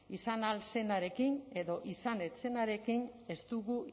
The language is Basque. izan ahal zenarekin edo izan ez zenarekin ez dugu